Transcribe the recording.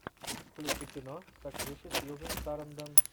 включи кино с актрисой сьюзан сарандон